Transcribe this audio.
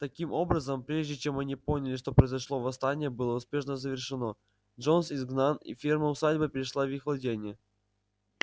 таким образом прежде чем они поняли что произошло восстание было успешно завершено джонс изгнан и ферма усадьба перешла в их владение